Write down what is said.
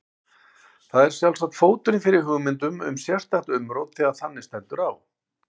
Það er sjálfsagt fóturinn fyrir hugmyndum um sérstakt umrót þegar þannig stendur á.